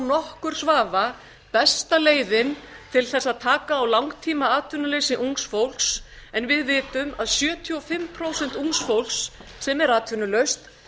nokkurs vafa besta leiðin til þess að taka á langtímaatvinnuleysi ungs fólks en við vitum að sjötíu og fimm prósent ungs fólks sem er atvinnulaust